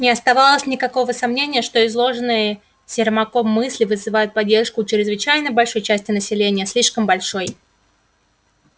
не оставалось никакого сомнения что изложенные сермаком мысли вызывают поддержку у чрезвычайно большой части населения слишком большой